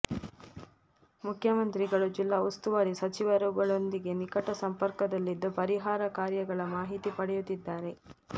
ಮುಖ್ಯಮಂತ್ರಿಗಳು ಜಿಲ್ಲಾ ಉಸ್ತುವಾರಿ ಸಚಿವರುಗಳೊಂದಿಗೆ ನಿಕಟ ಸಂಪರ್ಕದಲ್ಲಿದ್ದು ಪರಿಹಾರ ಕಾರ್ಯಗಳ ಮಾಹಿತಿ ಪಡೆಯುತ್ತಿದ್ದಾರೆ